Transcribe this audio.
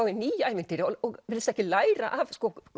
í ný ævintýri og virðist ekki læra af